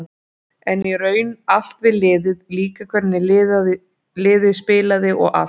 En í raun allt við liðið, líka hvernig liðið spilaði og allt.